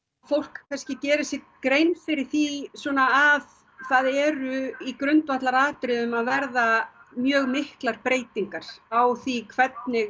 fólk geri sér grein fyrir því svona að það eru í grundvallaratriðum að verða mjög miklar breytingar á því hvernig